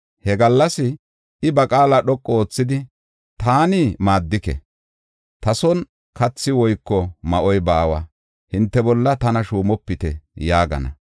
He gallas, I ba qaala dhoqu oothidi, “Taani maaddike; ta son kathi woyko ma7oy baawa; hinte bolla tana shuumopite” yaagana.